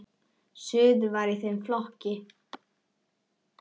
Suður var í þeim flokki.